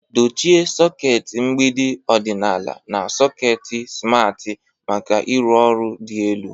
Dochie sọket mgbidi ọdịnala na sọket simarti maka ịrụ ọrụ dị elu.